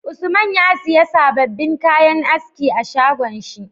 Usman ya siya sababin kayan aski a shagon shi